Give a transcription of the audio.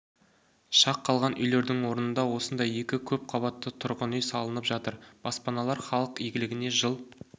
шақ қалған үйлердің орнында осындай екі көпқабатты тұрғын үй салынып жатыр баспаналар халық игілігіне жыл